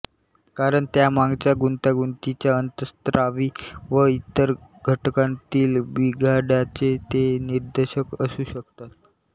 कारण त्यांमागच्या गुंतागुंतीच्या अंतःस्रावी व इतर घटनांतील बिघाडाचे ते निदर्शक असू शकतात